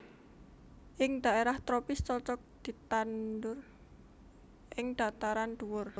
Ing daerah tropis cocok ditanhur ing dhataran dhuwur